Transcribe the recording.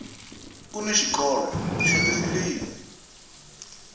kuni xikolo xa tifilimi